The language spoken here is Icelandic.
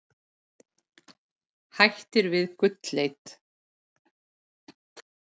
Hættir við gullleit